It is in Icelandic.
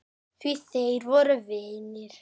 Því þeir voru vinir.